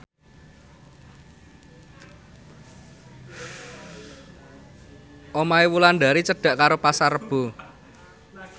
omahe Wulandari cedhak karo Pasar Rebo